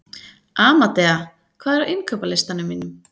Amadea, hvað er á innkaupalistanum mínum?